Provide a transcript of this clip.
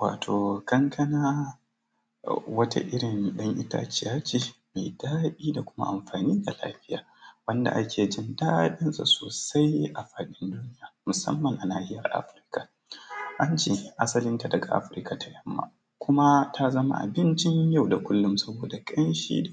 Wato kankana wata irin dan itaciya ce mai daɗi da kuma amfani ga lafiya, wanda ake jin daɗinta sosai a duniya, musamman a nahiyar Afrika. Ance asalinta daga Afrika ta yamma kuma ta zama abincin yau da kullum saboda ƙamshi